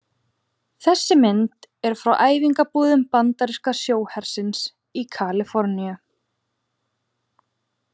Þessi mynd er frá æfingabúðum bandaríska sjóhersins í Kaliforníu.